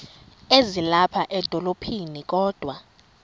ezilapha edolophini kodwa